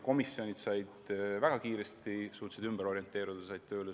Komisjonid suutsid väga kiiresti ümber orienteeruda ja said tööd jätkata.